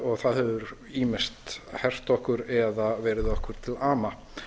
og það hefur ýmist hert okkur eða verið okkur til ama